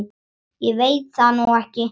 Ég veit það nú ekki.